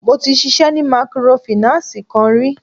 Mo ti ṣisẹ́ ni mikorofìnánsìì kan rí.